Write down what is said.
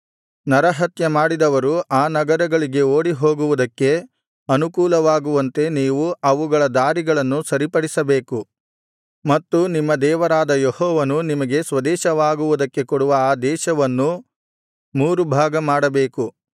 ನರಹತ್ಯಮಾಡಿದವರು ಆ ನಗರಗಳಿಗೆ ಓಡಿಹೊಗುವುದಕ್ಕೆ ಅನುಕೂಲವಾಗುವಂತೆ ನೀವು ಅವುಗಳ ದಾರಿಗಳನ್ನು ಸರಿಪಡಿಸಬೇಕು ಮತ್ತು ನಿಮ್ಮ ದೇವರಾದ ಯೆಹೋವನು ನಿಮಗೆ ಸ್ವದೇಶವಾಗುವುದಕ್ಕೆ ಕೊಡುವ ಆ ದೇಶವನ್ನು ಮೂರು ಭಾಗ ಮಾಡಬೇಕು